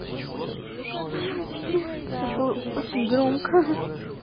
девочки это было очень громко